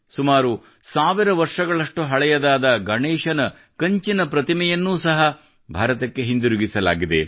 ಸುಮಾರು ಸಾವಿರ ವರ್ಷಗಳಷ್ಟು ಹಳೆಯದಾದ ಗಣೇಶನ ಕಂಚಿನ ಪ್ರತಿಮೆಯನ್ನು ಸಹ ಭಾರತಕ್ಕೆ ಹಿಂತಿರುಗಿಸಲಾಗಿದೆ